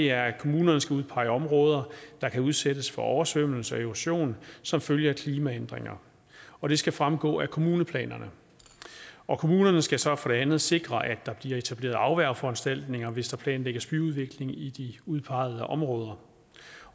er at kommunerne skal udpege områder der kan udsættes for oversvømmelse og erosion som følge af klimaændringer og det skal fremgå af kommuneplanerne kommunerne skal så for det andet sikre at der bliver etableret afværgeforanstaltninger hvis der planlægges byudvikling i de udpegede områder